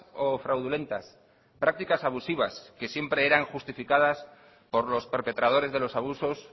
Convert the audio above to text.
o fraudulentas prácticas abusivas que siempre eran justificadas por los perpetradores de los abusos